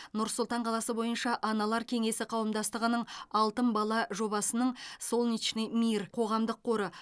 нұр сұлтан қаласы бойынша аналар кеңесі қауымдастығының алтын бала жобасының солнечный мир қоғамдық қоры